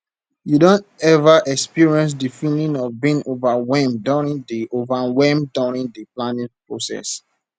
you don ever experience di feeling of being overwhelmed during di overwhelmed during di planning process